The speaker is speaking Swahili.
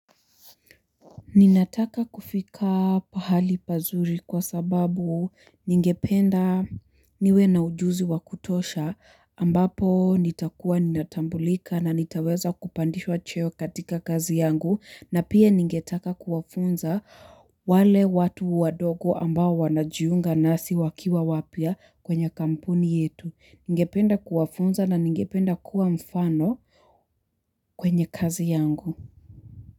Ninataka kufika pahali pazuri kwa sababu ningependa niwe na ujuzi wakutosha ambapo nitakuwa ninatambulika na nitaweza kupandishwa cheo katika kazi yangu, na pia ningetaka kuwafunza wale watu wadogo ambao wanajiunga nasi wakiwa wapya kwenye kampuni yetu. Ningependa kuwafunza na ningependa kuwa mfano kwenye kazi yangu.